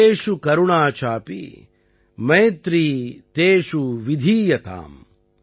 ஜீவேஷு கருணா சாபி மைத்ரீ தேஷு விதீயதாம்